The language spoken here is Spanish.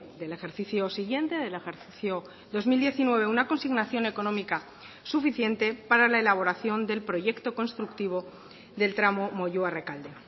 del ejercicio siguiente del ejercicio dos mil diecinueve una consignación económica suficiente para la elaboración del proyecto constructivo del tramo moyua rekalde